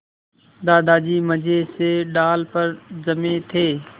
दादाजी मज़े से डाल पर जमे थे